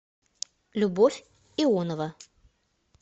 любовь ионова